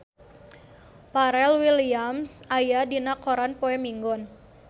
Pharrell Williams aya dina koran poe Minggon